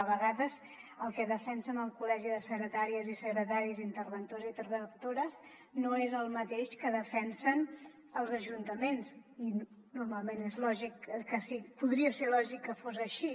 a vegades el que defensen el col·legi de secretàries i secretaris interventors i interventores no és el mateix que defensen els ajuntaments i normalment podria ser lògic que fos així